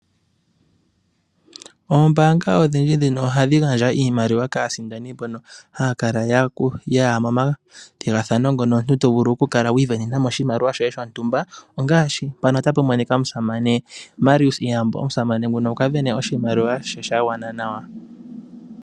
Oombaanga odhindji ndhino ohadhi gandja iimaliwa kaasindani mbono haya kala ya ya momathigathano mono omuntu ta vulu okwiisindanena mo oshiliwa shoye shontumba ngaashi omusamane Marius Iiyambo omusamane nguno okwiisindanena oshimaliwa she sha gwana nawa.